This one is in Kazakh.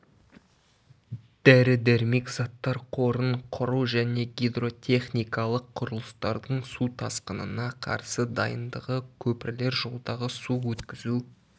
дәрі-дәрмек заттар қорын құру және гидротехникаық құрылыстардың су тасқынына қарсы дайындығы көпірлер жолдағы су өткізу